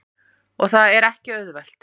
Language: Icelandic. Og það er ekki auðvelt.